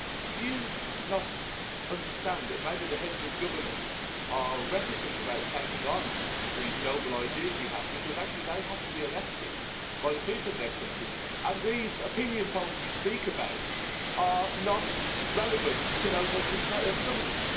Do you not understand that maybe the Heads of Government are reticent about taking on these noble ideas you have, because actually they have to be elected by the people in their countries, and these opinion polls you speak about are not relevant to those Heads of Government?